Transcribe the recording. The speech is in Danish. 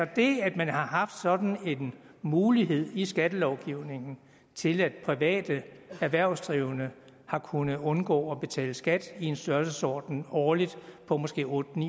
det at man har haft sådan en mulighed i skattelovgivningen til at private erhvervsdrivende har kunnet undgå at betale skat i en størrelsesorden årligt på måske otte